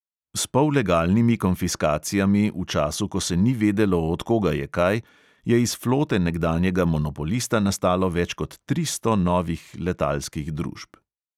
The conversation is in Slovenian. S pollegalnimi konfiskacijami v času, ko se ni vedelo, od koga je kaj, je iz flote nekdanjega monopolista nastalo več kot tristo novih letalskih družb.